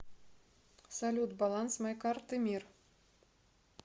салют баланс моей карты мир